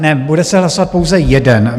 Ne, bude se hlasovat pouze jeden.